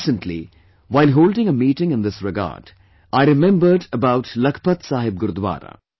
Recently, while holding a meeting in this regard I remembered about of Lakhpat Saheb Gurudwara